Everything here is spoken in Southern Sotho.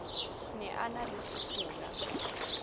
ne a na le sekola